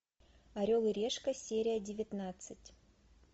орел и решка серия девятнадцать